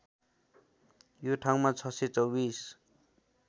यो ठाउँमा ६२४